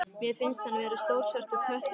Mér finnst hann vera stór svartur köttur.